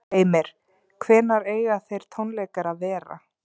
Heimir: Hvenær eiga þeir tónleikar að vera?